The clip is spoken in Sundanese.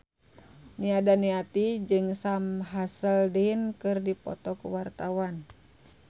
Nia Daniati jeung Sam Hazeldine keur dipoto ku wartawan